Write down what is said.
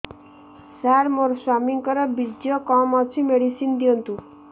ସାର ମୋର ସ୍ୱାମୀଙ୍କର ବୀର୍ଯ୍ୟ କମ ଅଛି ମେଡିସିନ ଦିଅନ୍ତୁ